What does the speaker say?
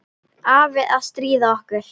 Afi að stríða okkur.